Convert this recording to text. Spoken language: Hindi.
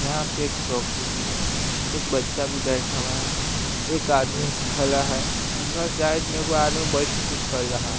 यहाँ पे एक चौकी भी है एक बच्चा भी बैठा हुआ है एक आदमी खला है उधर साइड में एगो आदमी बइठ के कुछ कल लला --